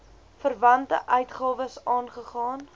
verwante uitgawes aangegaan